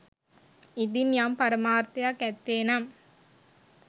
ඉදින් යම් පරමාර්ථයක් ඇත්තේ නම්